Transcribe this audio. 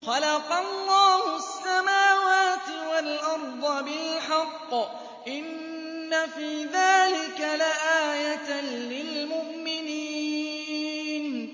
خَلَقَ اللَّهُ السَّمَاوَاتِ وَالْأَرْضَ بِالْحَقِّ ۚ إِنَّ فِي ذَٰلِكَ لَآيَةً لِّلْمُؤْمِنِينَ